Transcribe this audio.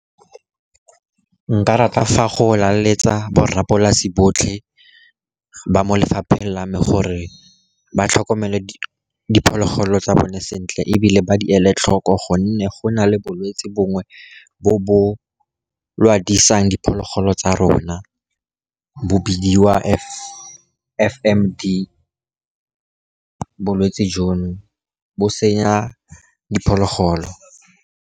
Nka rata fa go laletsa borrapolase botlhe ba mo lefapheng la me gore ba tlhokomele diphologolo tsa bone sentle, ebile ba di ele tlhoko, gonne go na le bolwetsi bongwe bo bo lwadisang diphologolo tsa rona bo bidiwa F_M_D. Bolwetsi jono bo senya diphologolo.